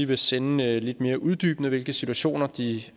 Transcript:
vil sende noget lidt mere uddybende om hvilke situationer de